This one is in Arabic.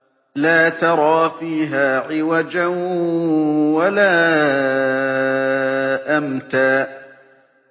لَّا تَرَىٰ فِيهَا عِوَجًا وَلَا أَمْتًا